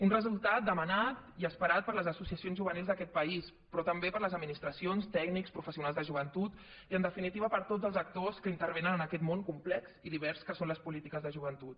un resultat demanat i esperat per les associacions juvenils d’aquest país però també per les administracions tècnics professionals de joventut i en definitiva per tots els actors que intervenen en aquest món complex i divers que són les polítiques de joventut